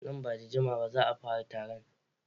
Nan ba da jimawa ba za a fara taron.